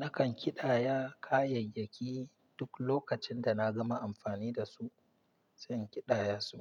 Nakan kidaya kayayyaki duk lokacin da nagama amfani dasu sai in kidayasu.